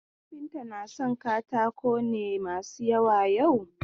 Kafinta na son katako ne masu yawa yau?